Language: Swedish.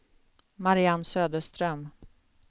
Mariann Söderström